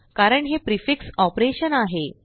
कारण हे prefix operation आहे